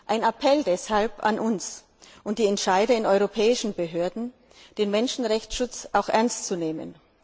Ein Appell deshalb an uns und die Entscheide in europäischen Behörden, den Menschenrechtsschutz auch ernst zu nehmen.